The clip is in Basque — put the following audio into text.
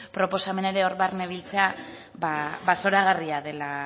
proposamena ere hor barne biltzea zoragarria dela